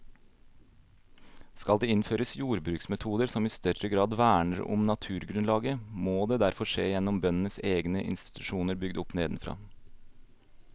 Skal det innføres jordbruksmetoder som i større grad verner om naturgrunnlaget, må det derfor skje gjennom bøndenes egne institusjoner bygd opp nedenfra.